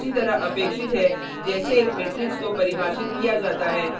यह उसी तरह अपेक्षित है जैसे एक मेट्रिक्स को परिभाषित किया जाता है